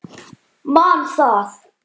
Man það.